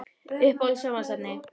Uppáhalds sjónvarpsefni?